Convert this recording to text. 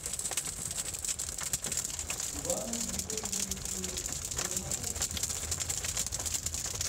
ивану григорьевичу ермакову